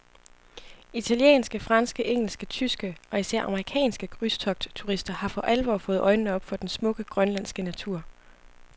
Italienske, franske, engelske, tyske og især amerikanske krydstogtturister har for alvor fået øjnene op for den smukke, grønlandske natur.